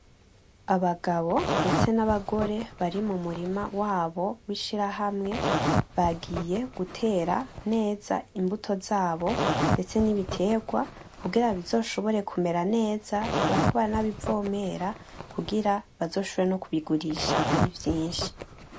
Abagabo ndetse n’abagore bari mu murima wabo w’ishirahamwe bagiye gutera neza imbuto zabo ndetse n’ibiterwa kugira bizoshobore kumera neza bariko baranabivomera kugira bazoshobore no kubigurisha arivyinshi.